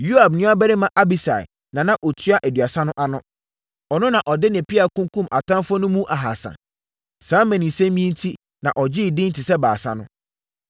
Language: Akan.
Yoab nuabarima Abisai na na ɔtua Aduasa no ano. Ɔno na ɔde ne pea kunkumm atamfoɔ no mu ahasa. Saa mmaninsɛm yi enti na ɔgyee edin te sɛ Baasa no.